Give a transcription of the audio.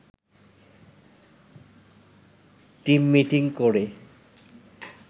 team meeting করে